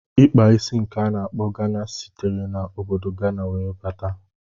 Ikpa isi nke a na-akpọ Gana sitere na obodo Gana wee bata.